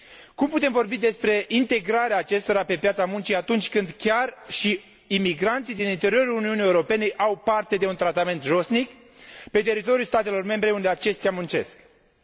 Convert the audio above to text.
Cum putem vorbi despre integrarea acestora pe piața muncii, atunci când chiar și imigranții din interiorul Uniunii Europene au parte de un tratament josnic pe teritoriul statelor membre unde muncesc aceștia?